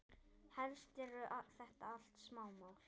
Helst eru þetta allt smámál.